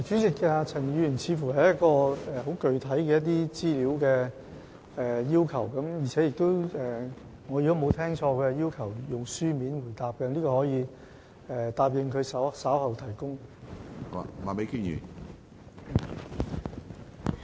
主席，陳議員似乎在索取很具體的資料，而如果我沒有理解錯誤，他要求以書面答覆，我可以承諾在會後提交有關資料。